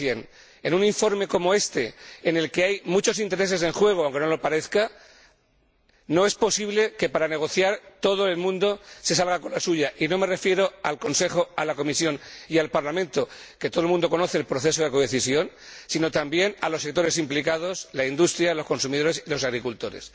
100 En un informe como este, en el que hay muchos intereses en juego, aunque no lo parezca, no es posible que, a la hora de negociar, todo el mundo se salga con la suya, y no me refiero al Consejo, a la Comisión y al Parlamento —que todo el mundo conoce el proceso de codecisión—, sino también a los sectores implicados —la industria, los consumidores y los agricultores—.